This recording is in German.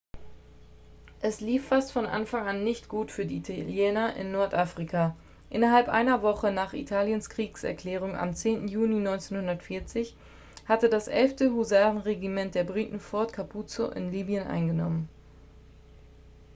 es lief fast von anfang an nicht gut für die italiener in nordafrika innerhalb einer woche nach italiens kriegserklärung am 10. juni 1940 hatte das 11. husarenregiment der briten fort capuzzo in libyen eingenommen